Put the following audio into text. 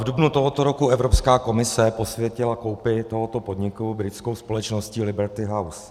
V dubnu tohoto roku Evropská komise posvětila koupi tohoto podniku britskou společností Liberty House.